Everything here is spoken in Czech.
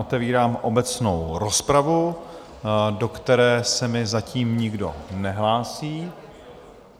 Otevírám obecnou rozpravu, do které se mi zatím nikdo nehlásí...